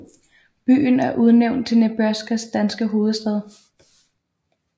Byen er udnævnt til Nebraskas danske hovedstad